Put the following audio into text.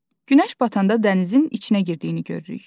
Günəş batanda dənizin içinə girdiyini görürük.